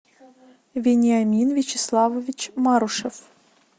вениамин вячеславович марушев